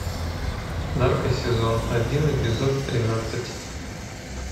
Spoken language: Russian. нарко сезон один эпизод тринадцать